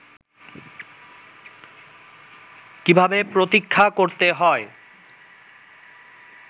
কীভাবে প্রতীক্ষা করতে হয়